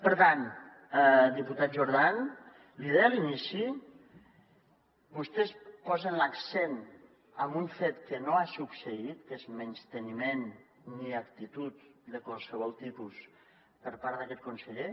per tant diputat jordan l’hi deia a l’inici vostès posen l’accent en un fet que no ha succeït que és menysteniment i actitud de qualsevol tipus per part d’aquest con·seller